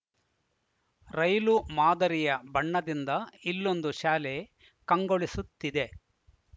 ರೈಲು ಮಾದರಿಯ ಬಣ್ಣದಿಂದ ಇಲ್ಲೊಂದು ಶಾಲೆ ಕಂಗೊಳಿಸುತ್ತಿದೆ